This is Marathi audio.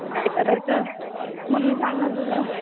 काय करायचं मम्मी सांगणार तुला.